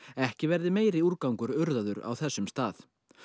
ekki verði meiri úrgangur urðaður á þessum stað